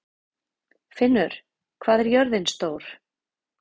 Finnur, hvað er jörðin stór?